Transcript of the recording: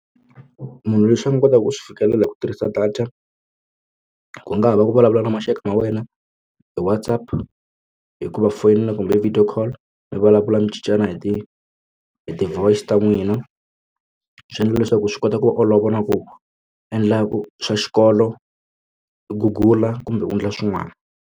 Munhu leswi a nga kotaka ku swi fikelela hi ku tirhisa data ku nga ha va ku vulavula na maxaka ma wena hi Whatsapp hikuva foyina kumbe video call mi vulavula mi cincana hi ti hi ti-voice ta n'wina swi endla leswaku swi kota ku va olovela ku endla swa xikolo gugula kumbe u endla swin'wana.